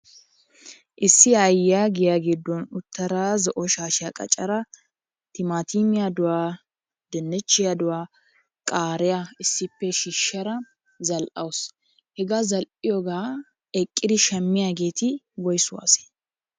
Issi aayyiya giya giddon uttada zo"o shaashiya qaccada timaatimiyaaduwa, dinnichchiyaaduwa, qaariyaa issippe shiishada zal"awusu. Hegaa zal"iyoogaa eqqidi shammiyaageeti woysu asee?